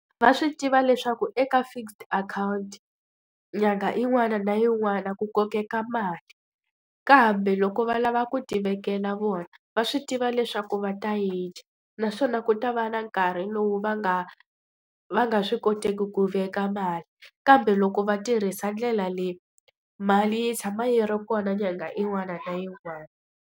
Va swi tiva leswaku eka fixed account nyangha yin'wana na yin'wana ku kokeka mali. Kambe loko va lava ku tivekela vona, va swi tiva leswaku va ta yi dya. Naswona ku ta va na nkarhi lowu va nga va nga swi koteki ku veka mali. Kambe loko va tirhisa ndlela leyi, mali yi tshama yi ri kona nyangha yin'wana na yin'wana.